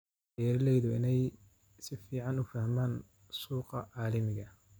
Beeralaydu waa inay si fiican u fahmaan suuqa caalamiga ah.